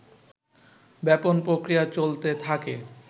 ব্যাপন প্রক্রিয়া চলতে থাকে